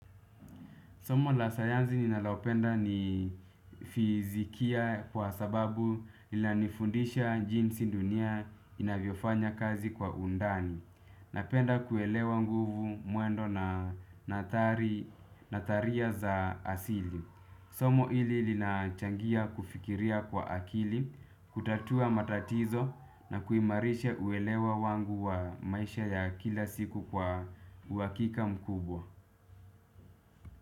Somo la sayansi ninalopenda ni fizikia kwa sababu inanifundisha jinsi dunia inavyofanya kazi kwa undani. Napenda kuelewa nguvu mwendo na nadharia za asili. Somo hili linachangia kufikiria kwa akili, kutatua matatizo na kuimarisha uelewa wangu wa maisha ya kila siku kwa uhakika mkubwa.